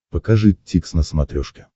покажи дтикс на смотрешке